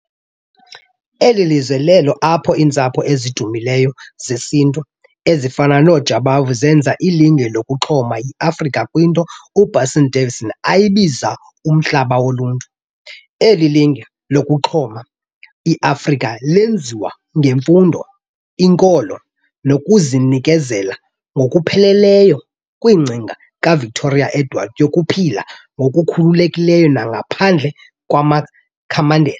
Eli lizwe lelo apho iintsapho ezidumileyo zesiNtu ezifana nooJabavu zenza ilinge lokuxuma iAfrika kwinto uBasil Davidson ayibiza "umhlaba wobuntu". Eli linge lokuxuma iAfrika lenziwa ngemfundo, inkolo nokuzinekezela ngokupheleleyo kwingcinga kaVictoria-Edward yokuphila ngokukhululekileyo nangaphandle kwamakhamandela.